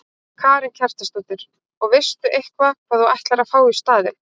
Karen Kjartansdóttir: Og veistu eitthvað hvað þú ætlar að fá í staðinn?